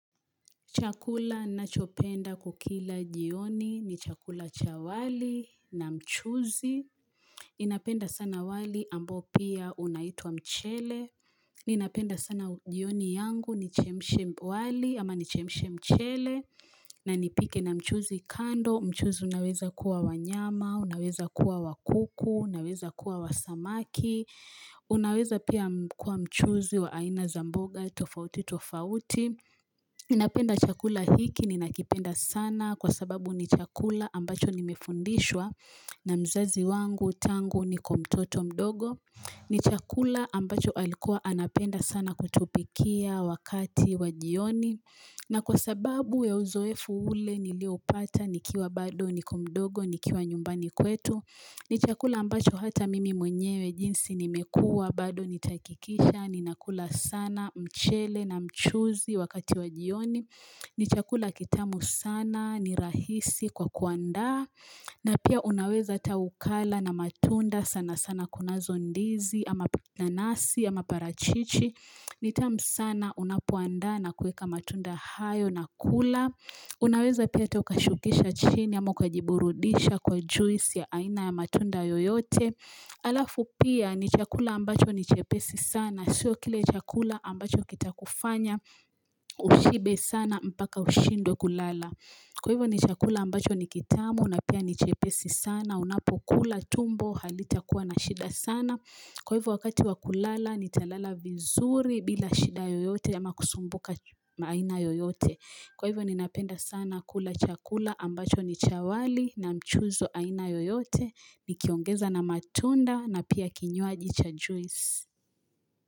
Chakula ninachopenda kukila jioni ni chakula cha wali na mchuzi. Ninapenda sana wali ambao pia unaitwa mchele. Ninapenda sana jioni yangu nichemshe wali ama nichemshe mchele. Na nipike na mchuzi kando. Mchuzi unaweza kuwa wanyama, unaweza kuwa wakuku, unaweza kuwa wasamaki. Unaweza pia kuwa mchuzi wa aina za mboga, tofauti, tofauti. Ninapenda chakula hiki, ninakipenda sana kwa sababu ni chakula ambacho nimefundishwa na mzazi wangu tangu niko mtoto mdogo. Ni chakula ambacho alikuwa anapenda sana kutupikia wakati wa jioni. Na kwa sababu ya uzoefu ule niliopata nikiwa bado niko mdogo nikiwa nyumbani kwetu. Ni chakula ambacho hata mimi mwenyewe jinsi nimekuwa, bado nitahakikisha, ninakula sana, mchele na mchuzi wakati wa jioni. Ni chakula kitamu sana, ni rahisi kwa kuandaa, na pia unaweza hata ukala na matunda sana sana kunazo ndizi, ama nanasi, ama parachichi. Ni tamu sana unapoandaa na kuweka matunda hayo na kula Unaweza pia hata ukashukisha chini ama ukajiburudisha kwa juisi ya aina ya matunda yoyote Alafu pia ni chakula ambacho ni chepesi sana. Sio kile chakula ambacho kitakufanya ushibe sana mpaka ushindwe kulala. Kwa hivyo ni chakula ambacho ni kitamu na pia ni chepesi sana. Unapokula tumbo halitakuwa na shida sana. Kwa hivyo wakati wa kulala nitalala vizuri bila shida yoyote ama kusumbuka aina yoyote Kwa hivyo ninapenda sana kula chakula ambacho ni cha wali na mchuzi wa aina yoyote nikiongeza na matunda na pia kinywaji cha juice.